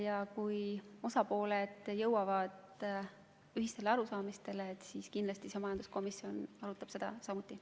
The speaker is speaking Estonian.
Ja kui osapooled jõuavad ühistele arusaamadele, siis kindlasti majanduskomisjon arutab seda samuti.